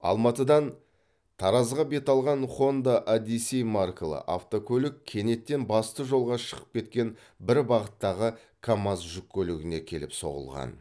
алматыдан таразға бет алған хонда одиссей маркалы автокөлік кенеттен басты жолға шығып кеткен бір бағыттағы камаз жүк көлігіне келіп соғылған